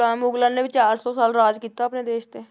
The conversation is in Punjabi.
ਮੁਗਲਾਂ ਮੁਗਲਾਂ ਨੇ ਵੀ ਚਾਰ ਸੌ ਸਾਲ ਰਾਜ ਕੀਤਾ ਆਪਣੇ ਦੇਸ ਤੇ।